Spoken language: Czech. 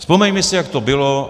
Vzpomeňme si, jak to bylo.